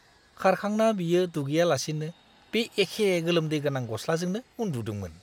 खारखांना बियो दुगैयालासेनो बे एखे गोलोमदै गोनां गस्लाजोंनो उन्दुदोंमोन!